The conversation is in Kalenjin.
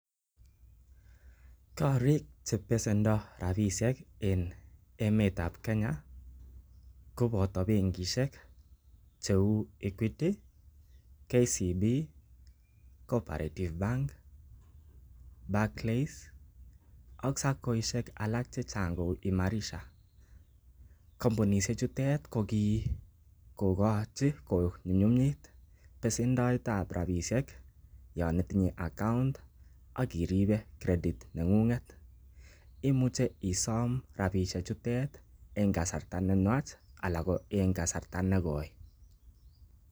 Korik che besendo rabishek en emet ab Kenya koboto bengishek cheu Equity, KCB, Cooperative Bank, Barclays ak SACCOishek alak che chang kou Imarisha. Komunishek chutet ko kigokochi konyumnyumit besendoet ab rabishek yon itinye account ak iribe credit neng'ung'et. Imuche isome rabishejutet en kasarta nenwach ala ko en kasarta nekoi.